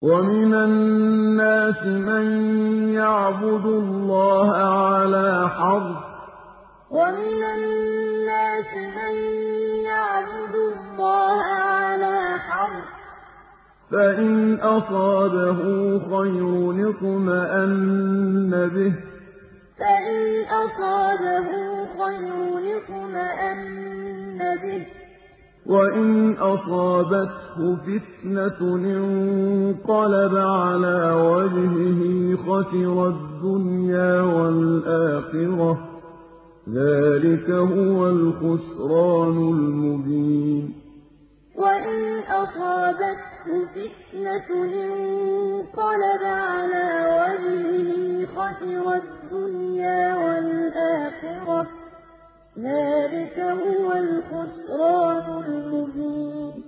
وَمِنَ النَّاسِ مَن يَعْبُدُ اللَّهَ عَلَىٰ حَرْفٍ ۖ فَإِنْ أَصَابَهُ خَيْرٌ اطْمَأَنَّ بِهِ ۖ وَإِنْ أَصَابَتْهُ فِتْنَةٌ انقَلَبَ عَلَىٰ وَجْهِهِ خَسِرَ الدُّنْيَا وَالْآخِرَةَ ۚ ذَٰلِكَ هُوَ الْخُسْرَانُ الْمُبِينُ وَمِنَ النَّاسِ مَن يَعْبُدُ اللَّهَ عَلَىٰ حَرْفٍ ۖ فَإِنْ أَصَابَهُ خَيْرٌ اطْمَأَنَّ بِهِ ۖ وَإِنْ أَصَابَتْهُ فِتْنَةٌ انقَلَبَ عَلَىٰ وَجْهِهِ خَسِرَ الدُّنْيَا وَالْآخِرَةَ ۚ ذَٰلِكَ هُوَ الْخُسْرَانُ الْمُبِينُ